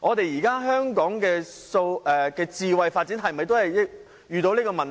現時香港的"智慧"發展是否也遇上這個問題？